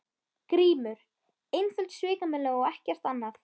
GRÍMUR: Einföld svikamylla og ekkert annað.